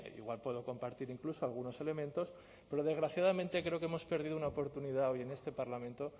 igual puedo compartir incluso algunos elementos pero desgraciadamente creo que hemos perdido una oportunidad hoy en este parlamento